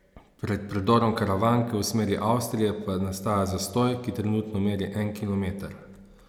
Pred predorom Karavanke v smeri Avstrije pa nastaja zastoj, ki trenutno meri en kilometer.